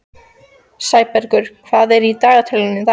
Sæbergur, hvað er í dagatalinu í dag?